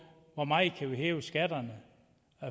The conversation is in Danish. hvor meget man kan hæve skatterne